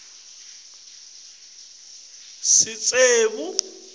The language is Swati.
inkhosi iatsatsa sitsembu